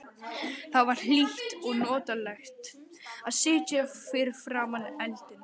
Það var hlýtt og notalegt að sitja fyrir framan eldinn.